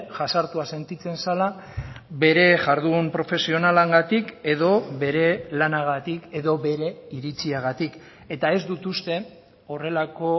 jazartua sentitzen zela bere jardun profesionalengatik edo bere lanagatik edo bere iritziagatik eta ez dut uste horrelako